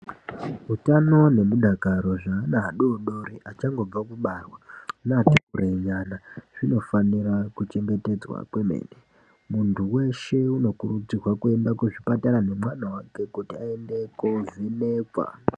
Utano nemudakaro zveana adoodori achangobva kudarwa neati kure nyana zvinofanira kuchengetedzwa kwemene, muntu weshe unokurudzirwe kuenda kuzvibhedhlera nemwana wake kuti aende kunovhenekwa.